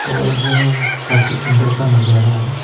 और काफी सूंदर सा नजारा है।